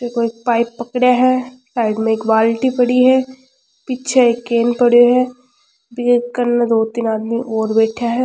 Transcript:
ये कोई पाइप पकडे है साइड में बाल्टी पड़ी है पीछे एक केन पड़यो है ये कने दो तीन आदमी और बैठया है।